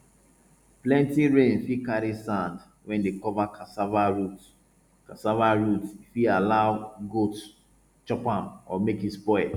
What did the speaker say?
plenty rain fit carry sand wey dey cover cassava root cassava root e fit allow goats chop am or make e spoil